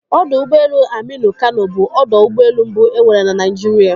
Odọ ụgbọelu Aminu Kano, bụ ọdọ ụgbọelu mbụ e nwere na Naịjirịa.